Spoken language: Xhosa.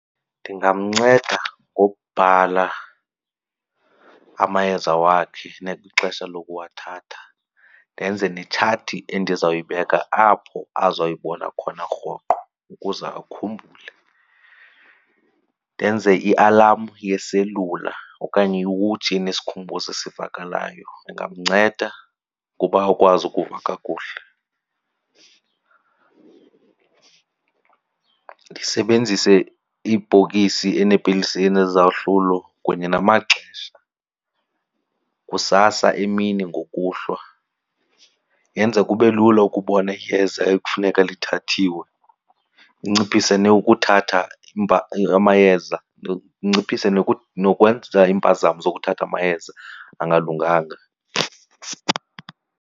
Ndingamnceda ngokubhala amayeza wakhe nelii xesha lokuwathatha ndenze netshati endizawuyibeka apho azoyibona khona rhoqo ukuze akhumbule. Ndenze ialamu yeselula okanye iwotshi enesikhumbuzo esivakalayo, ndingamnceda ukuba akwazi ukuva kakuhle. Ndisebenzise ibhokisi eneepilisi enezahlulo kunye namaxesha, kusasa, emini, ngokuhlwa. Yenza kube lula ukubona iyeza ekufuneka lithathiwe, linciphise nokuthatha amayeza , linciphise nokwenza iimpazamo zokuthatha amayeza angalunganga.